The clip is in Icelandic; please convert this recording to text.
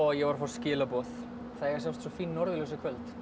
ég var að fá skilaboð það eiga að sjást svo fín norðurljós í kvöld